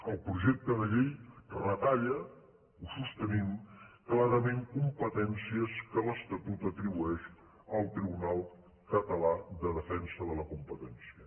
el projecte de llei retalla ho sostenim clarament com·petències que l’estatut atribueix al tribunal català de defensa de la competència